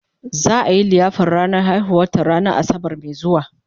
za'a Yi liyafar ranar haihuwar ta ranan asabar Mai zuwa